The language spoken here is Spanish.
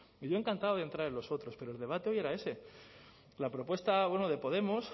y yo encantado de entrar en los otros pero el debate hoy era ese la propuesta bueno de podemos